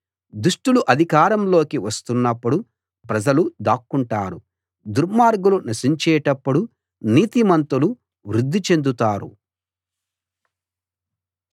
దుష్టులు అధికారంలోకి వస్తున్నప్పుడు ప్రజలు దాక్కుంటారు దుర్మార్గులు నశించేటప్పుడు నీతిమంతులు వృద్ధి చెందుతారు